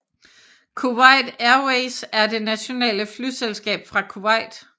Kuwait Airways er det nationale flyselskab fra Kuwait